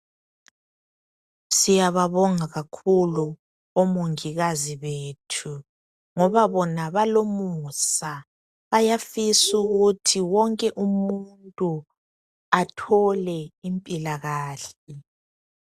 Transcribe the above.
Siyababonga kakhulu omongikazi bethu ngoba bona balomusa, bayafisa ukuthi wonke umuntu athole impilakahle.